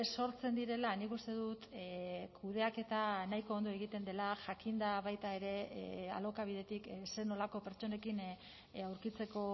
sortzen direla nik uste dut kudeaketa nahiko ondo egiten dela jakinda baita ere alokabidetik zer nolako pertsonekin aurkitzeko